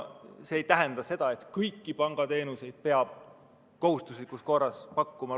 See ei tähenda seda, et kõiki pangateenuseid peab kohustuslikus korras pakkuma.